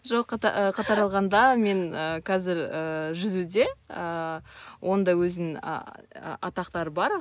жоқ қатар алғанда мен қазір і жүзуде і оның да өзінің атақтары бар